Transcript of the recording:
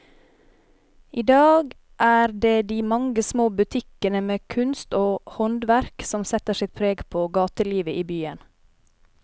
I dag er det de mange små butikkene med kunst og håndverk som setter sitt preg på gatelivet i byen.